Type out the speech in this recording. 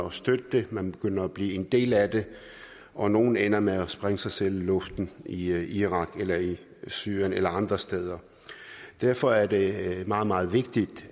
at støtte det man begynder at blive en del af det og nogle ender med at sprænge sig selv i luften i irak eller i syrien eller andre steder derfor er det meget meget vigtigt